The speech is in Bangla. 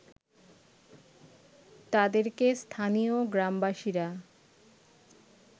তাদেরকে স্থানীয় গ্রামবাসীরা